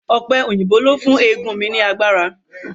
Ọ̀pẹ òyìnbó ló fún eegun mi ní agbára